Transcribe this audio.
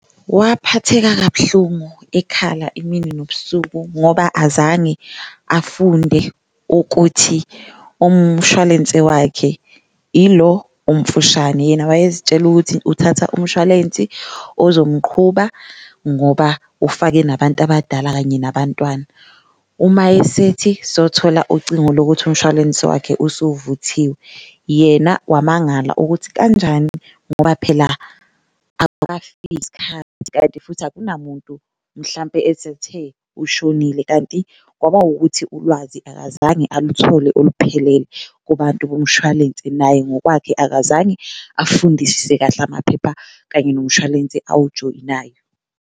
Waphatheka kabuhlungu ekhala imini nobusuku ngoba azange afunde ukuthi umshwalense wakhe ilo omfushane, yena wayezitshela ukuthi uthatha umshwalensi ozomqhuba ngoba ufake nabantu abadala kanye nabantwana. Uma esethi sothola ucingo lokuthi umshwalense wakhe usuvuthiwe yena wamangala ukuthi kanjani ngoba phela kanti futhi akunamuntu mhlampe esethe ushonile kanti kwaba wukuthi ulwazi akazange aluthole oluphelele kubantu bomshwalense. Naye ngokwakhe akazange afundisise kahle amaphepha kanye nomshwalense awujoyinayo.